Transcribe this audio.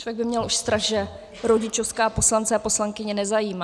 Člověk by měl už strach, že rodičovská poslance a poslankyně nezajímá.